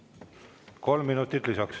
Kolm minutit lisaks.